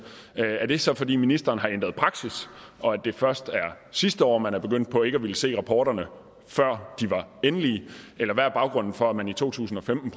er det så fordi ministeren har ændret praksis og at det først var sidste år man begyndte på ikke at ville se rapporterne før de var endelige eller hvad er baggrunden for at man i to tusind og femten